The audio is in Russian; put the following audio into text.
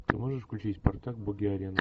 ты можешь включить спартак боги арены